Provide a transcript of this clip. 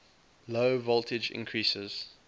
low voltage increases